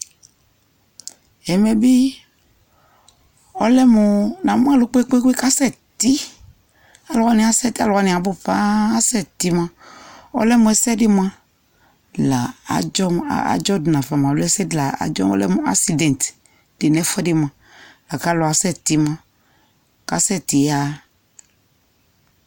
Ɛmɛ bi ɔlɛ mʋ, namʋ alʋ kpekpeekpe kʋ asɛti Alʋ wani asɛti, alʋ wani abʋ paa kʋ asɛti moa, ɔlɛ mʋ ɛsɛdi moa la adzɔ dʋ nava aloo ɛsɛdi la adzɔ, ɔlɛ mʋ asidɛŋti di nɛfuɛdi moa la kʋ alʋ asɛtɛ moa kasɛti yaɣa